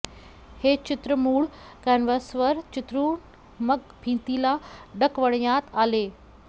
हे चित्र मूळ कॅनव्हसवर चित्रून मग भिंतीला डकवण्यात आले